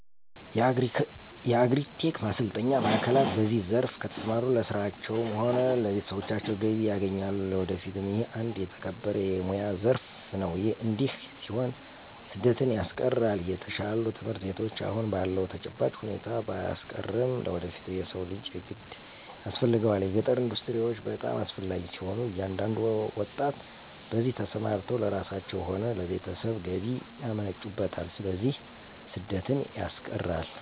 የአግሪ-ቴክ ማሰልጠኛ ማዕከላት በዚህ ዘርፍ ከተሰማሩ ለራሳቸዉም ሆነ ለቤተሰቦቻቸው ገቢ ያገኛሉ ለወደፊቱም ይህ አንድ የተከበረ የሞያ ዘረፍ ነው እዲህ ሲሆን ስደትን ያስቀራል።፣ የተሻሉ ትምህርት ቤቶች አሁን ባለዉ ተጨባጭ ሁኔታ ባያስቀርም ለወደፊቱ የሰው ልጅ የግድ ያስፈልገዋል። የገጠር ኢንዱስትሪዎች በጣም አስፈላጊ ሲሆኑ እያንዳንዱ ወጣት በዚህ ተሰማርተው ለራሳቸው ሆነ ለቤተሰብ ገቢ ያመነጩበታል ስለዚህ ስደትን ያስቀራል።